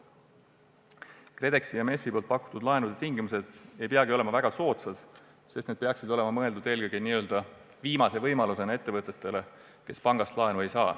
KredExi ja MES-i pakutavate laenude tingimused ei pruugikski olla väga soodsad, sest need peaksid olema mõeldud eelkõige n-ö viimase võimalusena kasutamiseks sellistele ettevõtetele, kes pangast laenu ei saa.